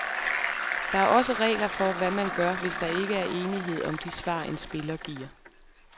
Der er også regler for, hvad man gør, hvis der ikke er enighed om de svar, en spiller giver.